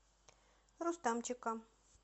рустамчика